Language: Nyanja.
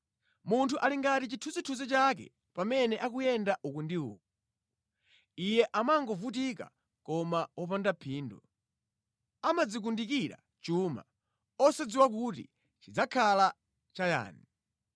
Munthu ali ngati chithunzithunzi chake pamene akuyenda uku ndi uku: Iye amangovutika koma popanda phindu; amadzikundikira chuma, osadziwa kuti chidzakhala chayani.